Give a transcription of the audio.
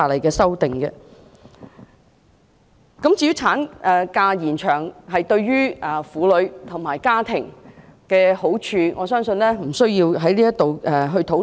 至於延長產假對婦女及家庭的好處，我相信我們也不需在此討論。